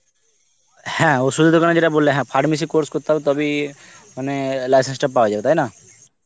হ্যাঁ অষুধের দোকান এ যেটা বললে হ্যাঁ pharmacy course করতে হবে তাবেই মানে license টা পাওয়া যাবে তাই না?